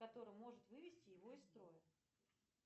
который может вывести его из строя